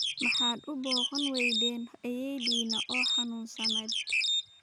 Maxaad u booqan weyden ayeeyadinaa oo xanunsaned